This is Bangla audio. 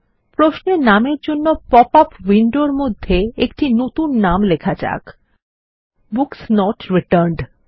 প্রশ্নের নামের জন্য পপআপ উইন্ডোর মধ্যে একটি নতুন নাম লেখা যাক বুকস নট রিটার্নড